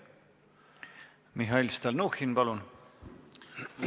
Mihhail Stalnuhhin, palun!